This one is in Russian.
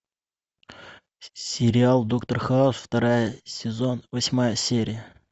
сериал доктор хаус вторая сезон восьмая серия